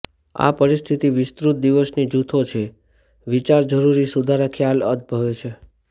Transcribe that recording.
આ પરિસ્થિતિ વિસ્તૃત દિવસની જૂથો છે વિચાર જરૂરી સુધારા ખ્યાલ ઉદભવે છે